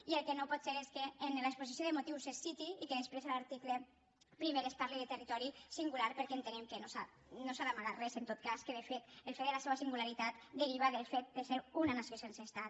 i el que no pot ser és que en l’exposició de motius es citi i que després a l’article primer es parli de territori singular perquè entenem que no s’ha d’amagar res en tot cas que de fet el fet de la seva singularitat deriva del fet de ser una nació sense estat